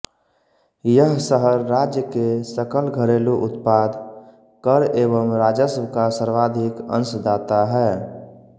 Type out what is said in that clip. यह शहर राज्य के सकल घरेलू उत्पाद कर एवं राजस्व का सर्वाधिक अंशदाता है